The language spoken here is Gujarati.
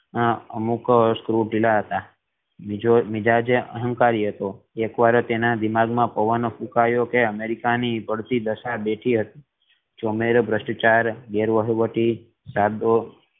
અમુક સ્ક્રેવ ઢીલા હતા મિજાજે અહંકારી હતો એક વાર તેના દિમાગ મા પવન ફુકાયો એમ કે અમેરિકા ની પડતી દશા બેઠી હતી ચોમેરે ભ્રષ્ટચાર